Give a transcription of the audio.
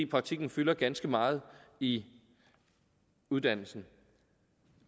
praktikken fylder ganske meget i uddannelsen